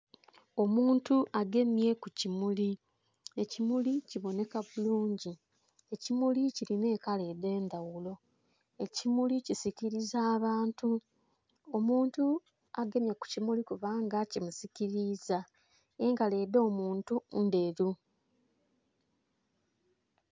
Omuntu agemye kukimuli, ekimuli kiboneka bulungi, ekimuli kiri n'ekala edhendhaghulo, ekimuli kisiriza abantu. Omuntu agemye kukimuli kubanga kimusikiriza, engalo edh'omuntu endheru.